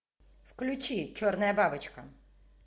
включи черная бабочка